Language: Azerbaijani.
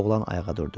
Oğlan ayağa durdu.